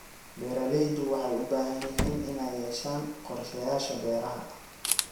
Beeraleydu waxay u baahan yihiin inay yeeshaan qorshayaasha beeraha.